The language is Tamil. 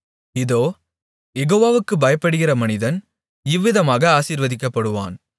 இதோ யெகோவாவுக்குப் பயப்படுகிற மனிதன் இவ்விதமாக ஆசீர்வதிக்கப்படுவான்